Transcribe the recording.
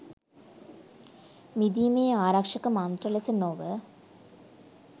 මිදීමේ ආරක්‍ෂක මන්ත්‍ර ලෙස නොව